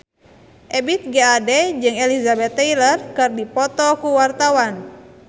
Ebith G. Ade jeung Elizabeth Taylor keur dipoto ku wartawan